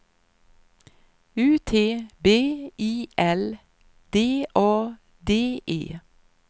U T B I L D A D E